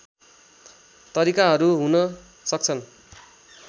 तरिकाहरू हुन सक्छन्